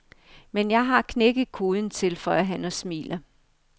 Men jeg har knækket koden, tilføjer han og smiler.